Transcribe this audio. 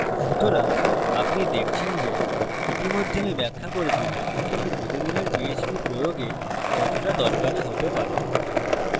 সুতরাং আপনি দেখছেন যে ইতিমধ্যে আমি ব্যাখ্যা করেছি যে এটি প্রতিদিনের php প্রয়োগে কতটা দরকারী হতে পারে